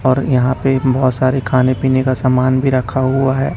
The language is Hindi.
और यहां पे बहोत सारे खाने पीने का सामान भी रखा हुआ है।